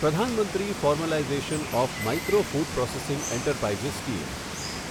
Pradhan Mantri formalization of micro food processing enterprises scheme